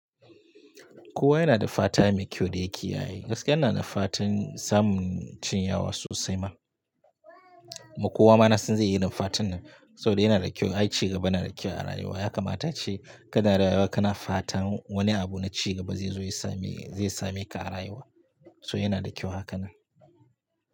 Kowa yana da fata mai kyau da yake yayi. Gaskiya yana da fatan samun cinyawa sosai ma. Mu kowa mana sun yi irin fatan nan saboda yana da kyau. Ai, ci gaba yana da kyau a rayuwa. Ya kamata ce ka na rayuwa ka na fata wani abu na ci gaba zai zo ya same, zai same ka a rayuwa. So yana da kyau hakanan.